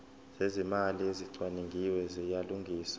zezimali ezicwaningiwe ziyalungiswa